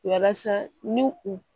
Walasa ni u